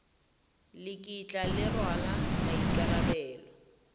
le kitla le rwala maikarabelo